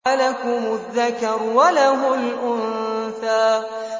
أَلَكُمُ الذَّكَرُ وَلَهُ الْأُنثَىٰ